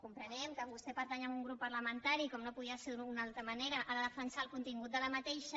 comprenem que vostè pertany a un grup parlamentari com no podia ser d’una altra manera ha de defensar el contingut d’aquesta